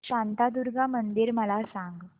शांतादुर्गा मंदिर मला सांग